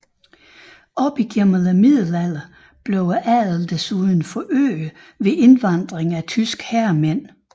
Op gennem middelalderen blev adelen desuden forøget ved indvandring af tyske herremænd